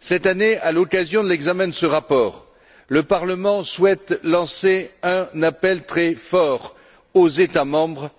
Cette année, à l'occasion de l'examen de ce rapport, le Parlement souhaite lancer un appel très fort aux États membres